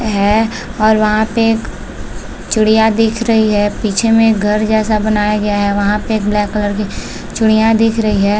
है और वहाँ पे एक चिड़िया दिख रही है पीछे में एक घर जैसा बनाया गया है वहाँ पे एक ब्लैक कलर की चिड़िया दिख रही है।